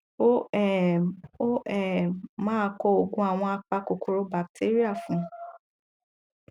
ó um ó um máa kọ òògùn àwọn apa kòkòrò batéríà fún un